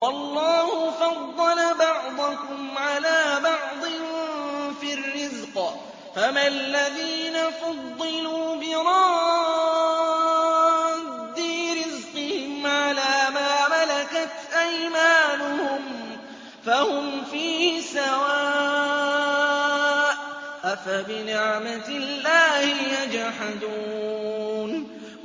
وَاللَّهُ فَضَّلَ بَعْضَكُمْ عَلَىٰ بَعْضٍ فِي الرِّزْقِ ۚ فَمَا الَّذِينَ فُضِّلُوا بِرَادِّي رِزْقِهِمْ عَلَىٰ مَا مَلَكَتْ أَيْمَانُهُمْ فَهُمْ فِيهِ سَوَاءٌ ۚ أَفَبِنِعْمَةِ اللَّهِ يَجْحَدُونَ